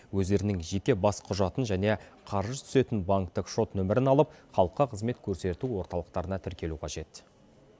өздерінің жеке бас құжатын және қаржы түсетін банктік шот номерін алып халыққа қызмет көрсету орталықтарына тіркелу қажет